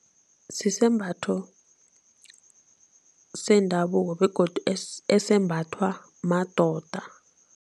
Sisembatho sendabuko begodu esembathwa madoda.